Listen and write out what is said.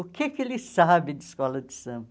O que que ele sabe de escola de samba?